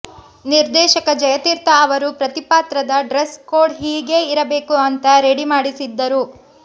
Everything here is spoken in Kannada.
ನಿರ್ದೇಶಕ ಜಯತೀರ್ಥ ಅವರು ಪ್ರತಿಪಾತ್ರದ ಡ್ರೆಸ್ ಕೋಡ್ ಹೀಗೇ ಇರಬೇಕು ಅಂತ ರೆಡಿ ಮಾಡಿಸಿದ್ದರು